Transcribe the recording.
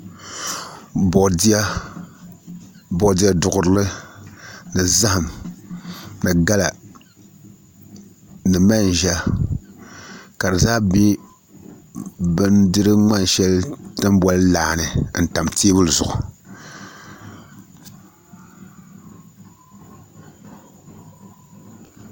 Boodiyɛ duɣurili ni zaham ni gala ni manʒa ka di ʒɛ bindiri ŋmani shɛli ni tini boli laa ni n tam teebuli zuɣu